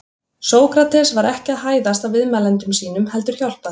Sókrates var ekki að hæðast að viðmælendum sínum heldur hjálpa þeim.